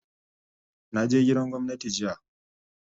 Na je gidan gwamnati jiya